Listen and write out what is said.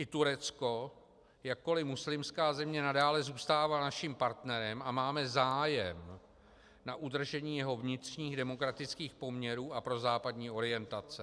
I Turecko, jakkoli muslimská země, nadále zůstává naším partnerem a máme zájem na udržení jeho vnitřních demokratických poměrů a prozápadní orientace.